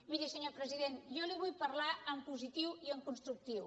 miri senyor president jo li vull parlar en positiu i en constructiu